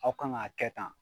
Aw kan k'a kɛ tan.